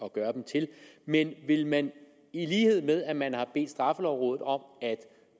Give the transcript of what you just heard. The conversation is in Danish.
at gøre dem til men vil man i lighed med at man har bedt straffelovrådet om at